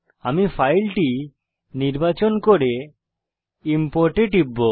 আমি ফাইলটি নির্বাচন করে ইম্পোর্ট এ টিপব